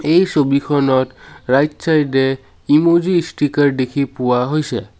এই ছবিখনত right side এ ইমজী ষ্টিকাৰ দেখি পোৱা হৈছে।